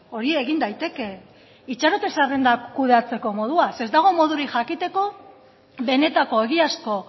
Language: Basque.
hori egin daiteke itxarote zerrenda kudeatzeko modua ez dago modurik jakiteko benetako egiazko